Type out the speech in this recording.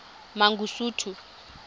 mangosuthu